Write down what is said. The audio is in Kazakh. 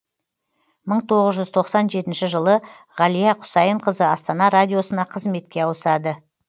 мың тоғыз жүз тоқсан жетінші жылы ғалия құсайынқызы астана радиосына қызметке ауысады